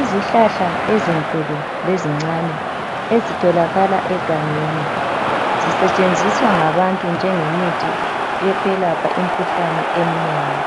Izihlahla ezinkulu lezincane ezitholakala egangeni zisetshenziswa ngabantu njengemithi yokwelapha imkhuhlane eminengi.